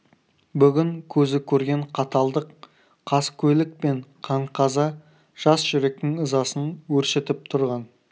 бүгін көзі көрген қаталдық қаскөйлік пен қан-қаза жас жүректің ызасын өршітіп тұрған